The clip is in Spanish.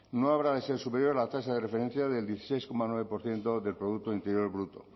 no habrá de ser superior a la tasa de referencia del dieciséis coma nueve por ciento del producto interior bruto